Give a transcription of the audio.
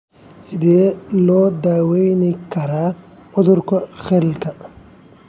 Sidee loo daweyn karaa cudurka Kyrlka?